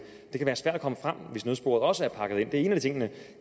det kan være svært at komme frem hvis nødsporet også er pakket det er en af tingene